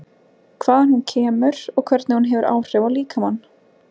Hvaðan hún kemur og hvernig hún hefur áhrif á líkamann?